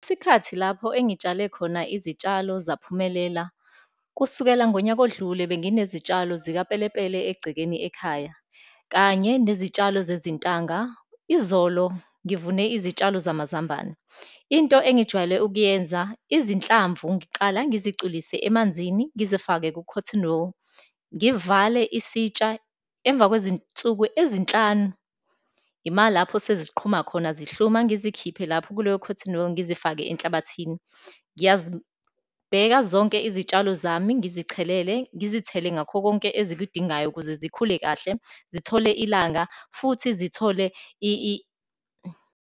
Isikhathi lapho engitshale khona izitshalo zaphumelela. Kusukela ngonyaka odlule, benginezitshalo zikapelepele egcekeni ekhaya, kanye nezitshalo zezintanga. Izolo ngivune izitshalo zamazambane. Into engijwayele ukuyenza, izinhlamvu ngiqala ngizicwilise emanzini, ngizifake ku-cotton wool, ngivale isitsha. Emva kwezinsuku ezinhlanu imalapho seziqhuma khona, zihluma, ngizikhiphe lapho kuleyo cotton wool, ngizifake enhlabathini. Ngiyazibheka zonke izitshalo zami, ngizichelela, ngizithele ngakho konke ezikudingayo ukuze zikhule kahle, zithole ilanga, futhi zithole .